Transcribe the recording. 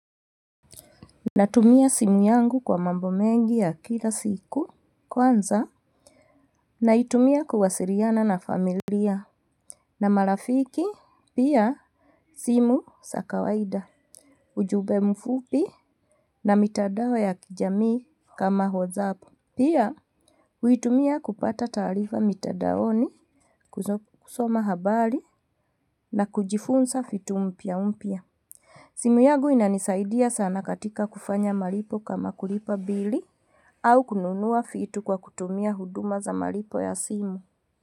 Natumia simu yangu kwa mambo mengi ya kila siku kwanza. Naitumia kuwasiliana na familia na marafiki pia simu za kawaida. Ujumbe mfupi na mitandao ya kijamii kama WhatsApp pia huitumia kupata taarifa mitandaoni kusoma habari na kujifunza vitu mpya mpya. Simu yangu inanisaidia sana katika kufanya malipo kama kulipa bili au kununua vitu kwa kutumia huduma za malipo ya simu.